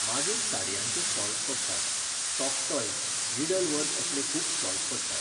मागीर साडयांचें स्टॉल्स पडटात, सॉफ्ट टॉय्ज, निडल वर्क असले खूब स्टॉल्स पडटात.